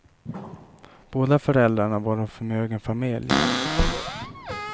Båda föräldrarna var av förmögen familj.